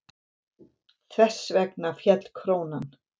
Þess vegna féll krónan.